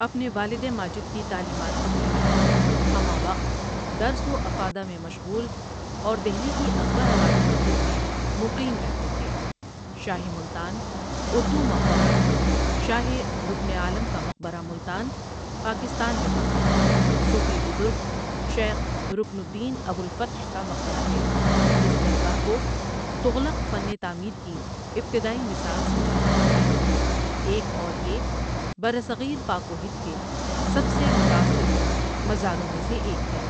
اپنے والد ماجد کی تعلیمات کوپھیلایا ہمہ وقت درس و افادہ میں مشغول اور دہلی کی اکبر آبادی مسجد میں مقیم رہتے تھے شاہ ملتان اردو مقبرہ شاہ رکن عالم کا مقبرہ ملتان ، پاکستان میں واقع ، صوفی بزرگ شیخ رڪن الدین ابوالفتح کا مقبرہ ہے اس درگاہ کو تغلق فن تعمیر کی ابتدائی مثال سمجھا جاتا ہے ، ایک اور یہ برصغیر پاک و ہند کے سب سے متاثر کن مزاروں میں سے ایک ہے ۔